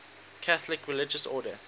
catholic religious order